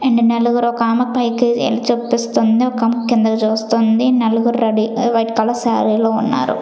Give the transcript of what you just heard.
And నలుగురు ఒక ఆమె పైకి ఏలు చూపిస్తుంది ఒక ఆమె కిందికి చూస్తుంది నలుగురు రెడీ వైట్ కలర్ సారీ లో ఉన్నారు.